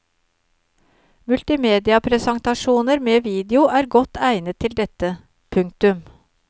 Multimedia presentasjoner med video er godt egnet til dette. punktum